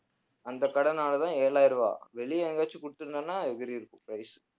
அந்தக் கடைனாலதான் ஏழாயிரம் ரூபாய், வெளியே எங்கேயாச்சும் குடுத்திருந்தான்னா எகிறியிருக்கும் price